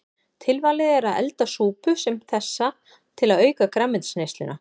Tilvalið er að elda súpu sem þessa til að auka grænmetisneysluna.